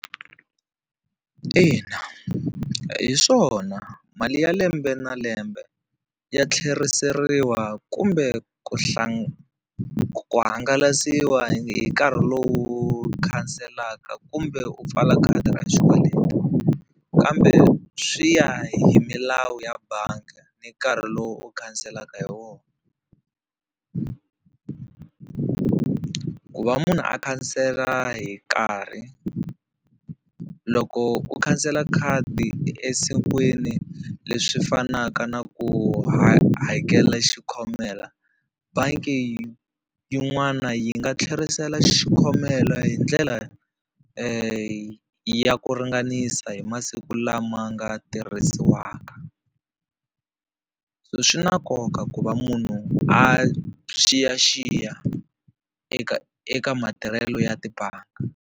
Ina, hi swona mali ya lembe na lembe ya tlheriseriwa kumbe ku ku hangalasiwa hi nkarhi lowu khanselaka kumbe u pfala khadi ra xikweleti, kambe swi ya hi milawu ya bangi ni nkarhi lowu u khanselaka hi wona. Ku va munhu a khansela hi nkarhi loko u khansela khadi esikwini leswi fanaka na ku hakela xi khomela bangi yin'wana yi nga tlherisela xikhomela hi ndlela ya ku ringanisa hi masiku lama nga tirhisiwaka. Swi na nkoka ku va munhu a xiyaxiya eka eka matirhelo ya tibangi.